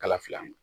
Kala fila ma